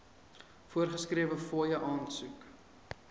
voorgeskrewe fooie aansoek